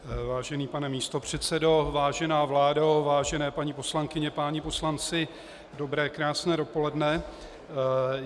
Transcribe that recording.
Vážený pane místopředsedo, vážená vládo, vážené paní poslankyně, páni poslanci, dobré krásné dopoledne.